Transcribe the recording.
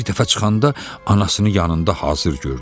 Bir dəfə çıxanda anasını yanında hazır gördü.